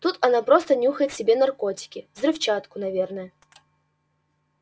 тут она просто нюхает себе наркотики взрывчатку наверное